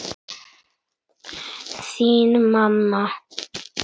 Þín, mamma.